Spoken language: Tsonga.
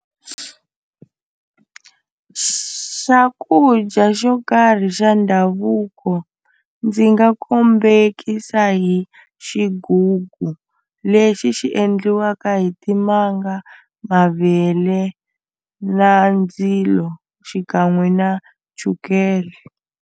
Swakudya xo karhi xa ndhavuko ndzi nga kombekisa hi xigugu lexi xi endliwaka hi timanga mavele na ndzilo xikan'we na chukele.